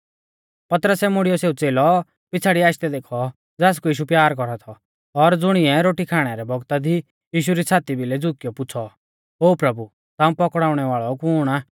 पतरसै मुड़ियौ सेऊ च़ेलौ पिछ़ाड़ीऐ आशदै देखौ ज़ासकु यीशु प्यार कौरा थौ और ज़ुणिऐ रोटी खाणै रै बगता दी यीशु री छ़ाती भिलै झुकियौ पुछ़ौ थौ ओ प्रभु ताऊं पकड़ाउणै वाल़ौ कुण आ